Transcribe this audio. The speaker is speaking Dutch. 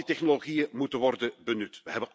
Al die technologieën moeten worden benut.